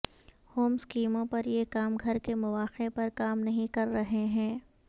home سکیموں پر یہ کام گھر کے مواقع پر کام نہیں کر رہے ہیں